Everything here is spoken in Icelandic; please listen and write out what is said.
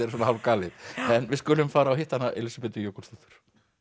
svona hálf galið en við skulum fara og hitta Elísabetu Jökulsdóttur